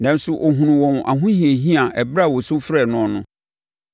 Nanso ɔhunuu wɔn ahohiahia ɛberɛ a wɔsu frɛɛ noɔ no;